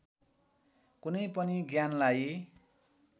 कुनै पनि ज्ञानलाई